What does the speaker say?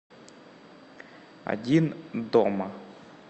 один дома